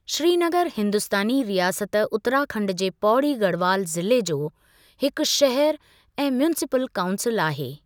श्रीनगर हिंदुस्तानी रियासत उत्तरा खंड जे पौड़ी गढ़वाल ज़िले जो हिकु शहर ऐं म्यूनिसिपल काऊंसिल आहे।